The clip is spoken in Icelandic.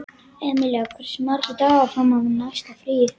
Emilía, hversu margir dagar fram að næsta fríi?